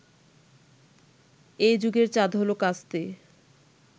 এ যুগের চাঁদ হলো কাস্তে